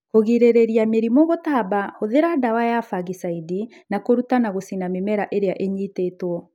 Kũgirĩrĩria mĩrimũ gũtamba hũthĩra dawa ys fangicaidi na kũruta na gũcina mĩmera ĩrĩa ĩnyitĩtwo.